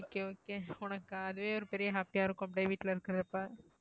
okay okay உனக்கு அதே ஒரு பெரிய happy யா இருக்கும் அப்படியே வீட்டுல இருக்கறப்போ.